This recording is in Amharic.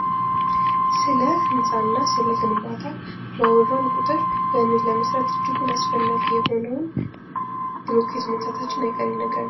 ስለ ህንጻና ስለ ግንባታ ባወራን ቁጥር ያንን ለመስራት እጅጉን አስፈላጊ የሆነውን ብሎኬት ማንሳታችን አይቀሬ ነገር ነው።